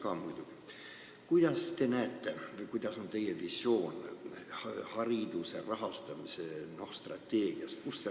Kuidas te näete, kust peaks see raha tulema, või milline on teie visioon hariduse rahastamise strateegiast?